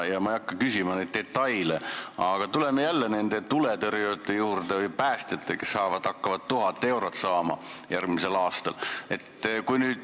Ma ei hakka küsima detailide kohta, aga tuleme jälle tuletõrjujate või päästjate juurde, kes hakkavad järgmisel aastal 1000 eurot saama.